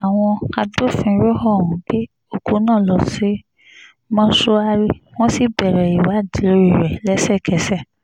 àwọn agbófinró ọ̀hún gbé òkú náà lọ sí mọ́ṣùárí wọ́n sì bẹ̀rẹ̀ ìwádìí lórí rẹ̀ lẹ́sẹ̀kẹsẹ̀